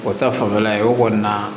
O ta fanfɛla ye o kɔni na